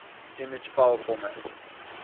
image file format